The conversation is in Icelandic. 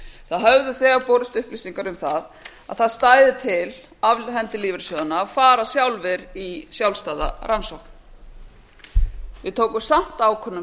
það höfðu þegar borist upplýsingar um að það stæði til af hendi lífeyrissjóðanna að fara sjálfir í sjálfstæða rannsókn við tókum samt ákvörðun